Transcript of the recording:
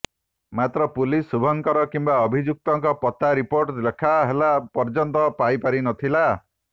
ମାତ୍ର ପୁଲିସ ଶୁଭଙ୍କର କିମ୍ବା ଅଭିଯୁକ୍ତଙ୍କ ପତ୍ତା ରିପୋର୍ଟ ଲେଖାହେଲା ପର୍ଯ୍ୟନ୍ତ ପାଇ ପାରି ନଥିଲା